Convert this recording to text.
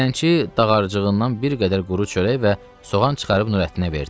Dilənçi dağarcığından bir qədər quru çörək və soğan çıxarıb Nurəddinə verdi.